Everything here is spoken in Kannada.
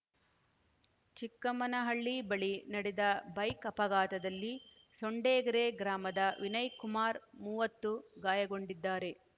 ಚಿಕ್ಕಮ್ಮನಹಳ್ಳಿ ಬಳಿ ನಡೆದ ಬೈಕ್‌ ಅಪಘಾತದಲ್ಲಿ ಸೊಂಡೆಗೆರೆ ಗ್ರಾಮದ ವಿನಯ್‌ಕುಮಾರ್‌ ಮೂವತ್ತು ಗಾಯಗೊಂಡಿದ್ದಾರೆ